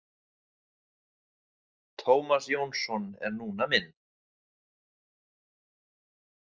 Tómas Jónsson er núna minn.